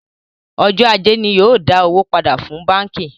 Ọjọ́ ajé ni yóò dá owó pàdà fún báńkì